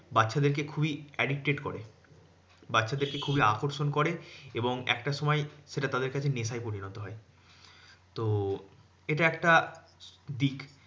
বাচ্চাদেরকে খুবই addicted করে বাচ্চাদেরকে খুবই আকর্ষণ করে এবং একটা সময় সেটা তাদের কাছে নেশায় পরিণত হয় তো এটা একটা দিক